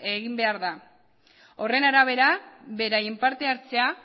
egin behar da horren arabera beraien partehartzea